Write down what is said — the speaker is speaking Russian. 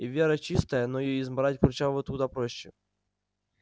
и вера чистая но её измарать курчавому куда проще